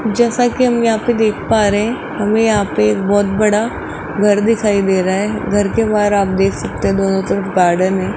जैसा कि हम यहां पे देख पा रहे हैं हमें यहां पे बहुत बड़ा घर दिखाई दे रहा है घर के बाहर आप देख सकते दोनों तरफ गार्डन है।